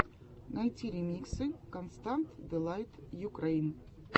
найти ремиксы констант дэлайт юкрэйн